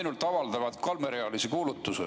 Nad avaldavad ainult kolmerealise kuulutuse.